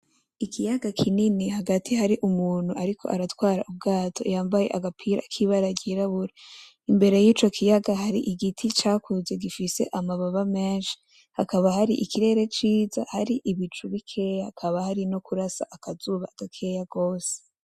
Ikiyaga kinini hagati hari umuntu ariko aratwara ubwato yambaye agapira k'ibara ry'irabura, imbere y'ico ikiyaga hari igiti cakuze gifise amababa menshi, hakaba hari ikirere ciza, hari ibicu bikeyi, hakaba hari no hararasa nakuzuba gakeya gose.